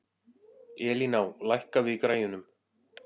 Elíná, lækkaðu í græjunum.